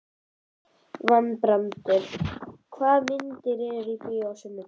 Valbrandur, hvaða myndir eru í bíó á sunnudaginn?